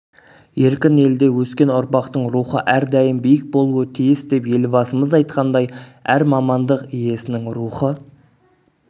еркін елде өскен ұрпақтың рухы әрдайым биік болуы тиіс деп елбасымыз айтқандай әр мамандық иесінің рухы